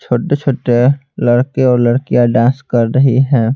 छोटे-छोटे लड़के और लड़कियां डांस कर रही है।